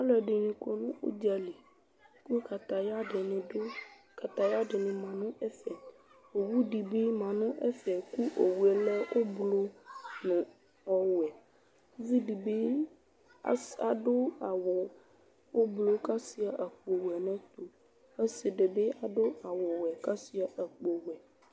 Aluɛdini kɔ nu udzali ku kataya dini du kataya dinibi adu ɛfɛ owu dibi ma nu ɛfɛ ku owu lɛ ublu nu ɔwɛ uvidibi adu awu ublu kashua akpo ɔsidibi adu awu ɔwɛ kashua akpo vɛ